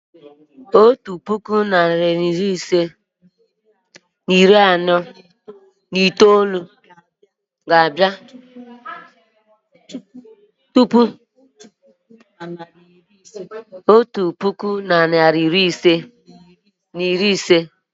otu puku na narị ise na iri anọ na itoolu ga-abịa tupu otu puku na narị ise na iri ise.